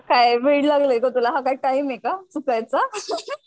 काय वेड लागलंय का तुला हा काय टाइम आहे का चुकायचा